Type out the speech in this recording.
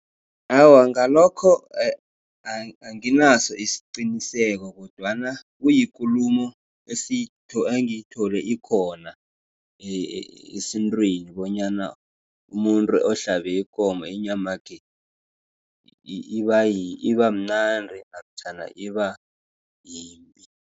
Awa, ngalokho anginaso isiqiniseko, kodwana kuyikulumo engiyithole ikhona esintwini, bonyana umuntu ohlalabe ikomo inyamakhe ibamnandi namtjhana ibayimbi.